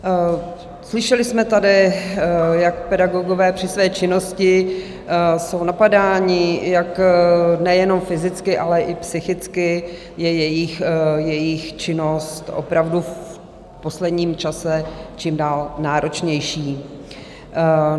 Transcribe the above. Slyšeli jsme tady, jak pedagogové při své činnosti jsou napadáni, jak nejenom fyzicky, ale i psychicky je jejich činnost opravdu v posledním čase čím dál náročnější.